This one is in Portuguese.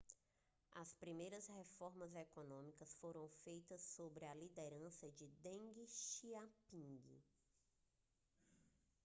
as primeiras reformas econômicas foram feitas sob a liderança de deng xiaoping